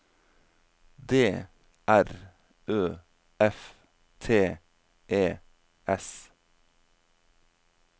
D R Ø F T E S